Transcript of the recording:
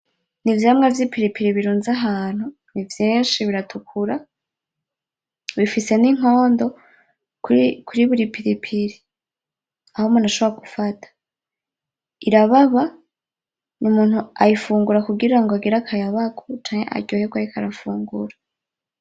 Ni ivyamwa vy'ipilipili birunze ahantu, nivyinshi biratukura , bifise n'inkondo kuri buri pilipili aho umuntu ashobora gufata , irababa, umuntu ayifungura kugira ngo agire akayabagu canke aryoherwe ariko arafungura.